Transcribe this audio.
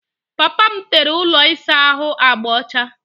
Papa m tere ụlọ ịsa ahụ agba ọcha.